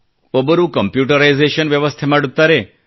ಒಬ್ಬರು ಕಂಪ್ಯೂಟರೈಜೇಷನ್ ವ್ಯವಸ್ಥೆ ಮಾಡುತ್ತಾರೆ